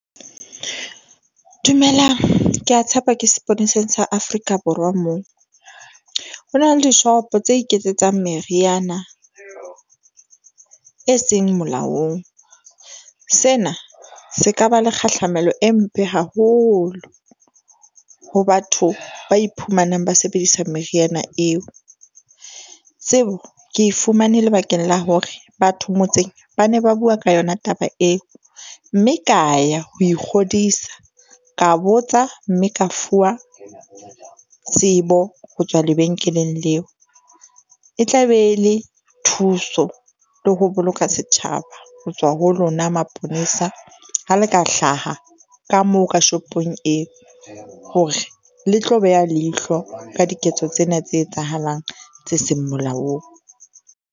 Dumelang, ke a tshepa ke sepoleseng sa Afrika Borwa moo. Ho na le dishopo tse iketsetsang meriana e seng molaong. Sena se ka ba le kgahlamelo e mpe haholo ho batho ba iphumanang ba sebedisa meriana eo. Tsebo ke e fumane lebakeng la hore batho motseng ba ne ba bua ka yona taba eo mme ka ya ho ikgodisa ka botsa mme ka fuwa tsebo ho tswa lebenkeleng leo. E tla be le thuso le ho boloka setjhaba ho tswa ho lona maponesa. Ha le ka hlaha ka moo ka shopong eo hore le tlo beha leihlo ka diketso tsena tse etsahalang tse seng molaong.